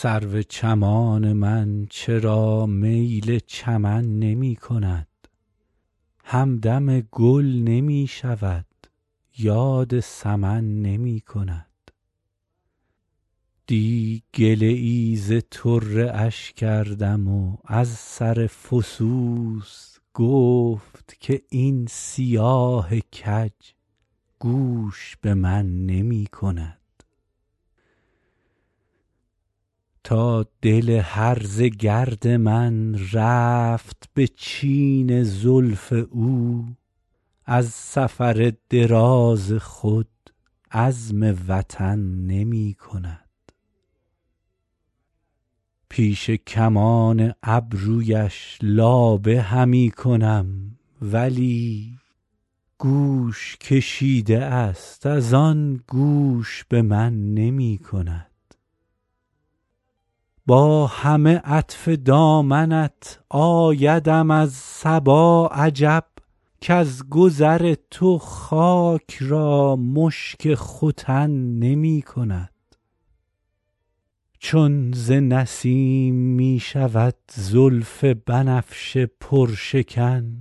سرو چمان من چرا میل چمن نمی کند همدم گل نمی شود یاد سمن نمی کند دی گله ای ز طره اش کردم و از سر فسوس گفت که این سیاه کج گوش به من نمی کند تا دل هرزه گرد من رفت به چین زلف او زان سفر دراز خود عزم وطن نمی کند پیش کمان ابرویش لابه همی کنم ولی گوش کشیده است از آن گوش به من نمی کند با همه عطف دامنت آیدم از صبا عجب کز گذر تو خاک را مشک ختن نمی کند چون ز نسیم می شود زلف بنفشه پرشکن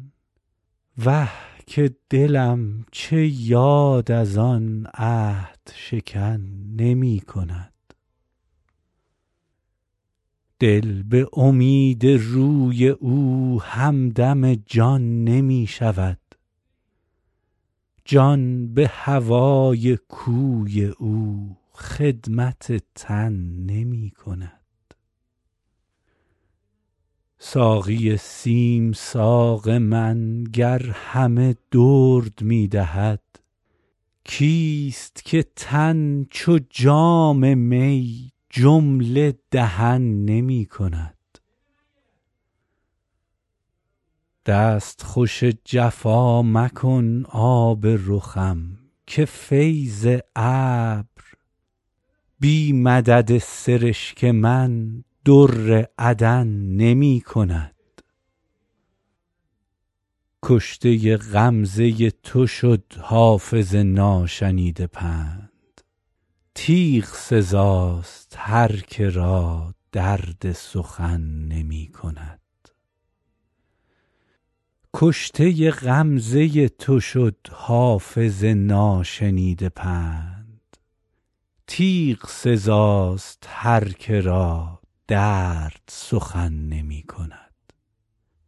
وه که دلم چه یاد از آن عهدشکن نمی کند دل به امید روی او همدم جان نمی شود جان به هوای کوی او خدمت تن نمی کند ساقی سیم ساق من گر همه درد می دهد کیست که تن چو جام می جمله دهن نمی کند دستخوش جفا مکن آب رخم که فیض ابر بی مدد سرشک من در عدن نمی کند کشته غمزه تو شد حافظ ناشنیده پند تیغ سزاست هر که را درد سخن نمی کند